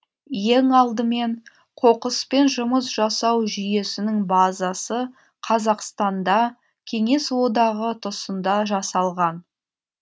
ең алдымен қоқыспен жұмыс жасау жүйесінің базасы қазақстанда кеңес одағы тұсында жасалған